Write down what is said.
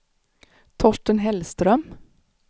Torsten Hellström